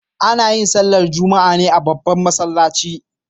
Ana yin sallar Juma'a ne a babban masallaci.